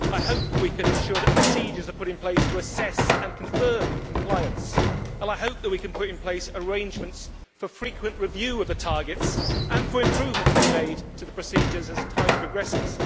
I hope we can ensure that procedures are put in place to assess and confirm compliance, and I hope that we can put in place arrangements for frequent review of the targets and for improvements to be made to the procedures as time progresses.